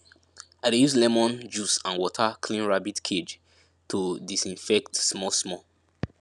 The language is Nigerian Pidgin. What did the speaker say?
i dey use lemon juice and water clean rabbit cage to disinfect small small